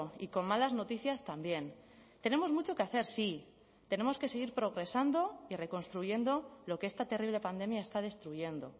y con malas noticias también tenemos mucho que hacer sí tenemos que seguir progresando y reconstruyendo lo que esta terrible pandemia está destruyendo